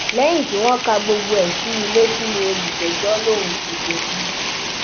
lẹyìn tí wọn ka gbogbo ẹ sí i létí ní olùjẹjọ lòun kò jẹbi